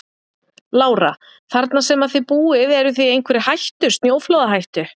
Lára: Þarna sem að þið búið eruð þið í einhverri hættu, snjóflóðahættu?